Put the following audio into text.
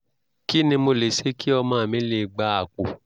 kí ni mo lè ṣe kí ọmọ mi lè gba àpò?